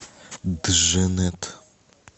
дженнет